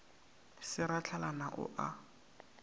se ra hlalana o a